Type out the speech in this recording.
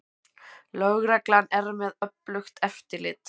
Lögreglan með öflugt eftirlit